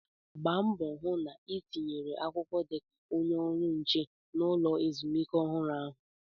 Gba mbọ hụ na ị tinyere akwụkwọ dị ka onye ọrụ nche na ulọ ezumike ọhụrụ ahụ!